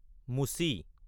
মুচি